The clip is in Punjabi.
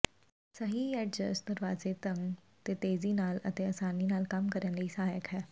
ਸਹੀ ਐਡਜਸਟ ਦਰਵਾਜ਼ੇ ਢੰਗ ਤੇ ਤੇਜ਼ੀ ਨਾਲ ਅਤੇ ਆਸਾਨੀ ਨਾਲ ਕੰਮ ਕਰਨ ਲਈ ਸਹਾਇਕ ਹੈ